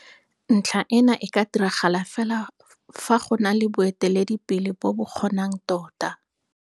Ntlha ena e ka diragala fela fa go na le boeteledipele bo bo kgonang tota.